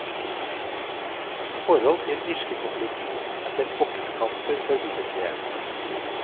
I forhold til irskekonflikten er selv boksekamper forbilledlige.